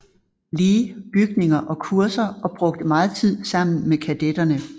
Lee bygninger og kurser og brugte meget tid sammen med kadetterne